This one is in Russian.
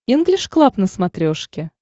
инглиш клаб на смотрешке